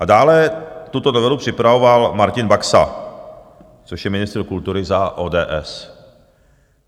A dále tuto novelu připravoval Martin Baxa, což je ministr kultury za ODS.